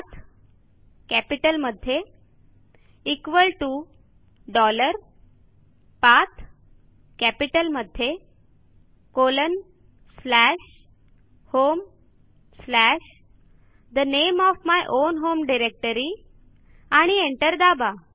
PATHकॅपिटलमध्ये equal to dollar PATHकॅपिटलमध्ये colon slash home slash the name of my own home directory आणि enter दाबा